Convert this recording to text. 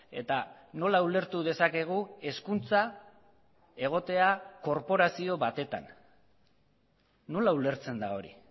eta nola ulertu dezakegu hezkuntza egotea korporazio batetan nola ulertzen da hori